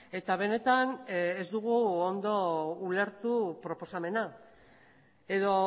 eta benetan ez dugu ondo ulertu proposamena edo